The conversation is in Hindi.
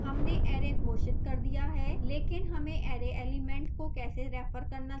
हमने array घोषित कर दिया है लेकिन हमें array element को कैसे रेफर करना चाहिए